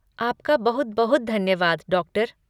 आपका बहुत बहुत धन्यवाद, डॉक्टर